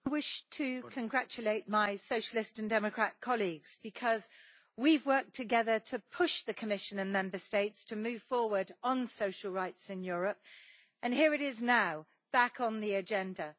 Mr President, I wish to congratulate my Socialist and Democrat colleagues, because we have worked together to push the Commission and Member States to move forward on social rights in Europe, and here it is now back on the agenda.